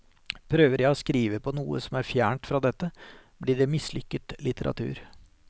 Prøver jeg å skrive på noe som er fjernt fra dette, blir det mislykket litteratur.